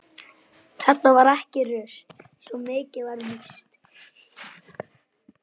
Þetta var ekki rusl, svo mikið var víst.